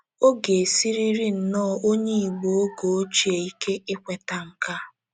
Ọ ga - esiri nnọọ onye Igbo oge ochie ike ikweta nke a.